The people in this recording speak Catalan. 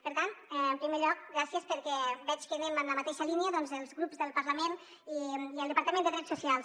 per tant en primer lloc gràcies perquè veig que anem en la mateixa línia doncs els grups del parlament i el departament de drets socials